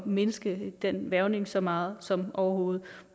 mindske den hvervning så meget som overhovedet